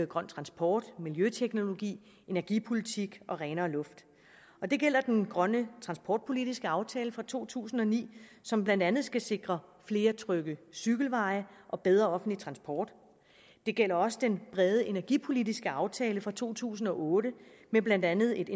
grøn transport miljøteknologi energipolitik og renere luft det gælder den grønne transportpolitiske aftale fra to tusind og ni som blandt andet skal sikre flere trygge cykelveje og bedre offentlig transport det gælder også den brede energipolitiske aftale fra to tusind og otte med blandt andet